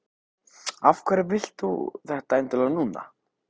Af hverju vilt þú þetta endilega núna?